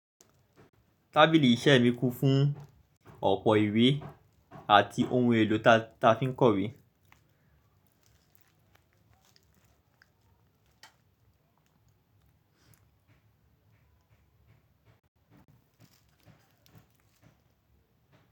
Tábìlì iṣẹ́ mi kún fún ọ̀pọ̀ ìwé àti ohun èlò ta fi ń kọ̀wé.